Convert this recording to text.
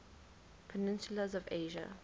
peninsulas of asia